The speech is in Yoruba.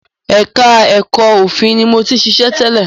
Ẹka ẹ̀kọ́ òfin ni mo ti ṣiṣẹ́ tẹ́lẹ̀.